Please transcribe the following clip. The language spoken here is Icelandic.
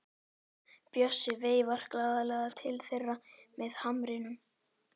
Bjössi veifar glaðlega til þeirra með hamrinum.